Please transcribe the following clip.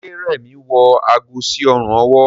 Ṣe Remi wọ àgó sí Ọrùn ọwọ́